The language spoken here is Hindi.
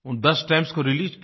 उन 10 स्टैम्प्स को रिलीज किया